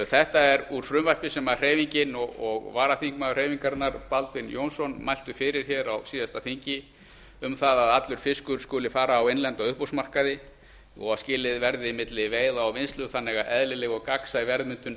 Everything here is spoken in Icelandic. þetta er úr frumvarpi sem hreyfingin og varaþingmaður hreyfingarinnar baldvin jónsson mæltu fyrir á síðasta þingi um að allur fiskur skyldi fara á innlenda uppboðsmarkaði og að skilið yrði milli veiða og vinnslu þannig að eðlileg og gagnsæ verðmyndun ætti